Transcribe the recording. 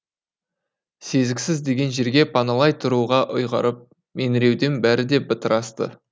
сезіксіз деген жерге паналай тұруға ұйғарып меңіреуден бәрі де бытырасты